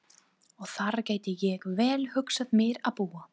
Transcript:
Og þar gæti ég vel hugsað mér að búa.